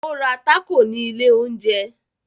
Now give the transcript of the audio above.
Ó ra tákò ni ilẹ̀ oúnjẹ